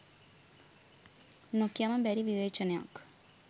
නොකියාම බැරි විවේචනයක්